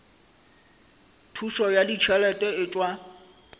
thušo ya ditšhelete e tšwa